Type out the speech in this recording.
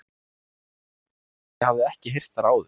Í röddinni var eitthvað sem ég hafði ekki heyrt þar áður.